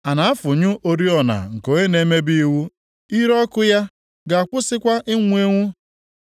“A na-afụnyụ oriọna nke onye na-emebi iwu; ire ọkụ ya ga-akwụsịkwa inwu enwu,